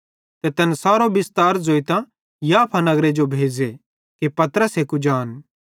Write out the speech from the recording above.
ते तैन सारो बिस्तार ज़ोइतां याफा नगरे जो भेज़े कि पतरसे कुजान